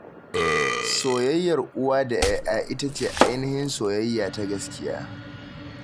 Soyayyar uwa da 'ya'ya ita ce ainihin soyayya ta gaskiya.